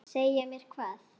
Segja mér hvað?